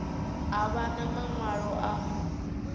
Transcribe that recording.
a vha na maṅwalo a